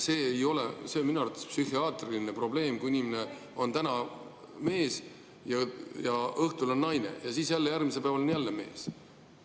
See on minu arvates psühhiaatriline probleem, kui inimene on mees ja õhtul on naine ning siis järgmisel päeval on jälle mees.